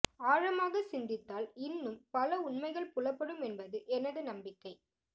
ஆழமாகச் சிந்தித்தால் இன்னும் பல உண்மைகள் புலப்படும் என்பது எனது நம்பிக்கை